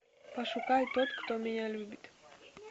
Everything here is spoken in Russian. пошукай тот кто меня любит